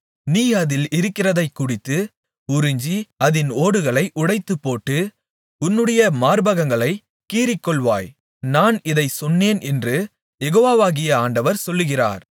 நீ அதில் இருக்கிறதைக் குடித்து உறிஞ்சி அதின் ஓடுகளை உடைத்துப்போட்டு உன்னுடைய மார்பகங்களைக் கீறிக்கொள்வாய் நான் இதைச் சொன்னேன் என்று யெகோவாகிய ஆண்டவர் சொல்லுகிறார்